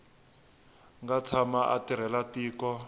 nga tshama a tirhela tiko